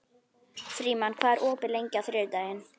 Frímann, hvað er opið lengi á þriðjudaginn?